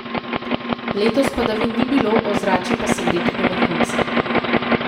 Letos padavin ni bilo, ozračje pa segreto do vrhunca.